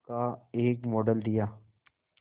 का एक मॉडल दिया